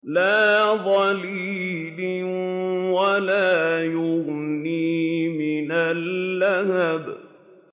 لَّا ظَلِيلٍ وَلَا يُغْنِي مِنَ اللَّهَبِ